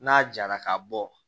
N'a jara ka bɔ